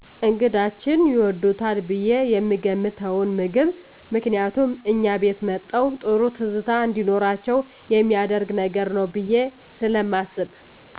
እነግዳችን ይወዱታል ብየ የምገምተዉን ምግብ ምክንያቱም እኛ ቤት መተዉ ጥሩ ትዝታ እንዲኖራቸዉ የሚያደርግ ነገር ነዉ ብየ ስለማስብ